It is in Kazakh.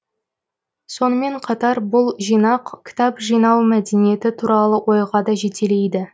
сонымен қатар бұл жинақ кітап жинау мәдениеті туралы ойға да жетелейді